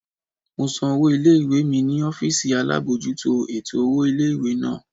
Mo san owó ilé-ìwé mi ní ọ́fìsì alábojútó ètò owó ilé-ìwé náà